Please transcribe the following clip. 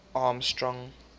armstrong